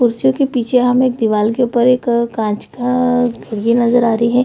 कुर्सियों के पीछे हमें एक दीवाल के ऊपर एक कांच का खिड़की नजर आ रही है।